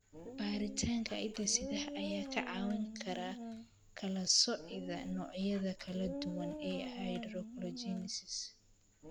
Baaritaanka hidde-sidaha ayaa kaa caawin kara kala soocida noocyada kala duwan ee achondrogenesis.